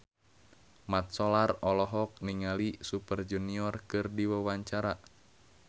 Mat Solar olohok ningali Super Junior keur diwawancara